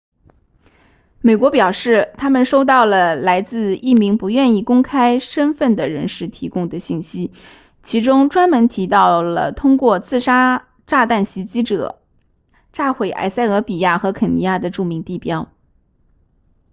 美国表示他们收到了来自一名不愿公开身份的人士提供的信息其中专门提到了通过自杀炸弹袭击者炸毁埃塞俄比亚和肯尼亚的'著名地标'